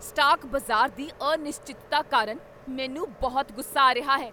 Stock ਬਾਜ਼ਾਰ ਦੀ ਅਨਿਸ਼ਚਿਤਤਾ ਕਾਰਨ ਮੈਨੂੰ ਬਹੁਤ ਗੁੱਸਾ ਆ ਰਿਹਾ ਹੈ!